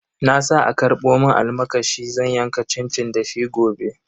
Na sa a karbo mun almakashi zan yanka cincin da shi gobe.